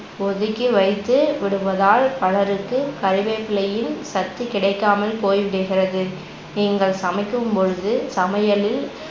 ஒதுக்கிவைத்துவிடுவதால் பலருக்கு கருவேப்பிலையின் சத்து கிடைக்காமல் போய்விடுகிறது நீங்கள் சமைக்கும்பொழுது சமையலில்